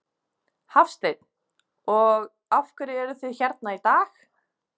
Hafsteinn: Og af hverju eruð þið hérna í dag?